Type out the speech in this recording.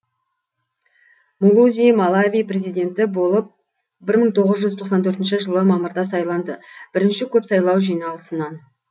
мулузи малави президенті болып бір мың тоғыз жүз тоқсан төртінші жылы мамырда сайланды бірінші көп сайлау жиналысынан